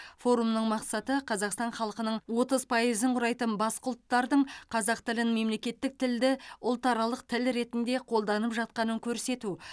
форумның мақсаты қазақстан халқының отыз пайызын құрайтын басқа ұлттардың қазақ тілін мемлекеттік тілді ұлтаралық тіл ретінде қолданып жатқанын көрсету